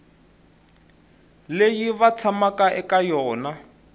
leyi va tshamaka eka yona